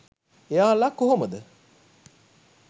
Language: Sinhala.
එයාල කොහොමද